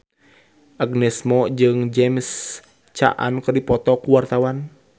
Agnes Mo jeung James Caan keur dipoto ku wartawan